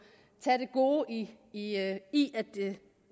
tage det gode i i at